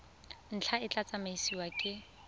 ntlha e tla tsamaisiwa ke